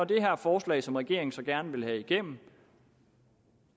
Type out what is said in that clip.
det er her forslag som regeringen så gerne vil have igennem